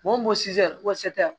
Mun ko ko